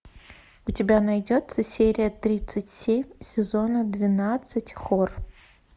у тебя найдется серия тридцать семь сезона двенадцать хор